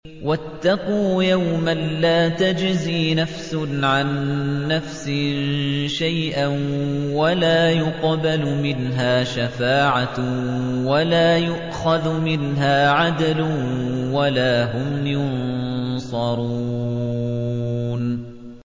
وَاتَّقُوا يَوْمًا لَّا تَجْزِي نَفْسٌ عَن نَّفْسٍ شَيْئًا وَلَا يُقْبَلُ مِنْهَا شَفَاعَةٌ وَلَا يُؤْخَذُ مِنْهَا عَدْلٌ وَلَا هُمْ يُنصَرُونَ